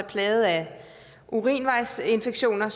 plaget af urinvejsinfektioner